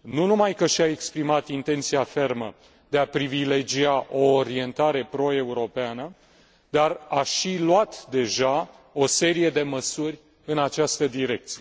nu numai că și a exprimat intenția fermă de a privilegia o orientare proeuropeană, dar a și luat deja o serie de măsuri în această direcție.